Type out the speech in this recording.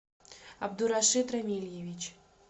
абдурашид рамильевич